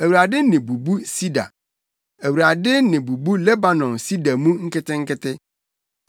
Awurade nne bubu sida; Awurade nne bubu Lebanon sida mu nketenkete